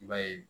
I b'a ye